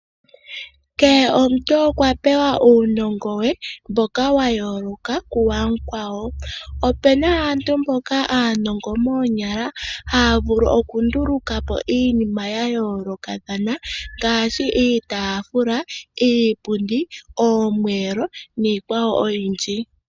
Kehe omuntu okwa pewa uunongo we mboka wa yooloka ku wakwawo. Opena aantu mboka aanongo moonyala, haya vulu oku nduluka po iinima ya yooloka thana ngaashi, iitafula, iipundi, oomwelo nii kwaeo oyindji.